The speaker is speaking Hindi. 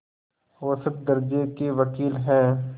औसत दर्ज़े के वक़ील हैं